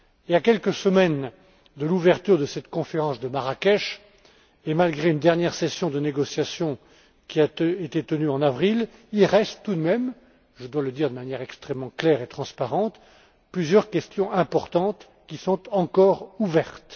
À quelques semaines de l'ouverture de cette conférence de Marrakech, et malgré une dernière session de négociations, qui a été tenue en avril, il reste tout de même je dois le dire de manière extrêmement claire et transparente plusieurs questions importantes qui sont encore ouvertes.